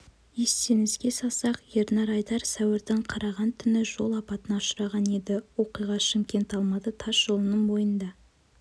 естеріңізге салсақ ернар айдар сәуірдің қараған түні жол апатына ұшыраған еді оқиға шымкент-алматы тас жолының бойында